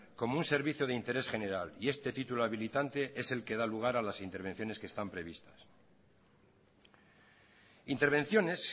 como un servicio de interés general y este título habilitante es el que da lugar a las intervenciones que están previstas intervenciones